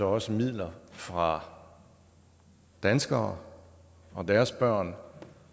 også midler fra danskere og deres børn